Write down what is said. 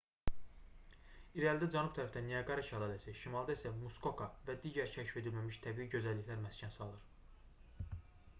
i̇rəlidə cənub tərəfdə niaqara şəlaləsi şimalda isə muskoka və digər kəşf edilməmiş təbii gözəlliklər məskən salır